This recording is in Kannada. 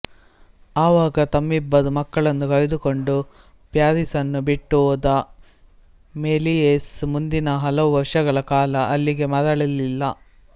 ಆವಾಗ ತಮ್ಮಿಬ್ಬರು ಮಕ್ಕಳನ್ನು ಕರೆದುಕೊಂಡು ಪ್ಯಾರಿಸನ್ನು ಬಿಟ್ಟು ಹೋದ ಮೆಲಿಯೇಸ್ ಮುಂದಿನ ಹಲವು ವರ್ಷಗಳ ಕಾಲ ಅಲ್ಲಿಗೆ ಮರಳಲಿಲ್ಲ